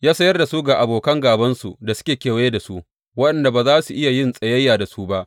Ya sayar da su ga abokan gābansu da suke kewaye da su, waɗanda ba za su iya yin tsayayya da su ba.